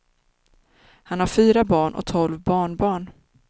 Han har fyra barn och tolv barnbarn.